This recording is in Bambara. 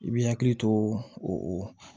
I b'i hakili to o